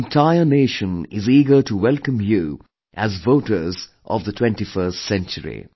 The entire nation is eager to welcome you as voters of the 21st century